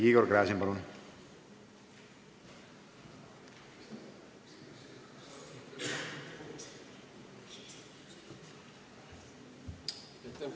Igor Gräzin, palun!